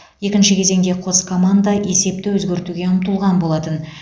екінші кезеңде қос команда есепті өзгертуге ұмтылған болатын